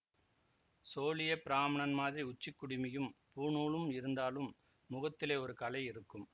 சோழியப் பிராமணன் மாதிரி உச்சிக் குடுமியும் பூணூலும் இருந்தாலும் முகத்திலே ஒரு களை இருக்கும்